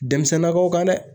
Denmisɛnninnakaw kan dɛ.